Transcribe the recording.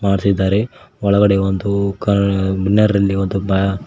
ಮಾಡ್ತಿದ್ದಾರೆ ಒಳಗಡೆ ಒಂದು ಕಾರ್ ನರ್ ಅಲ್ಲಿ ಒಂದು ಬ--